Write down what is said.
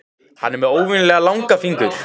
Hann er með óvenjulega langa fingur.